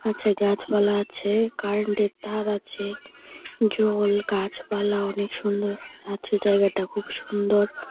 পাছে গাছপালা আছে কারেন্টের তার আছে জল গাছপালা অনেক সুন্দর আছে জায়গাটা খুব সুন্দর।